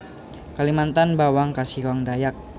Kalimantan bawang kasihong Dayak